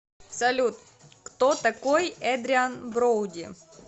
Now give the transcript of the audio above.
салют кто такой эдриан броуди